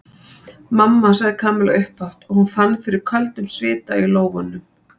Mamma sagði Kamilla upphátt og hún fann fyrir köldum svita í lófunum.